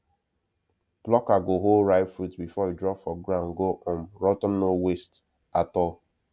plucker go hold ripe fruit before e drop for ground go um rot ten no waste at all